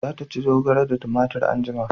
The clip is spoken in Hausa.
Za ta ci zogale da tumatir anjima